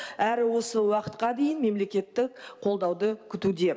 әрі осы уақытқа дейін мемлкеттік қолдауды күтуде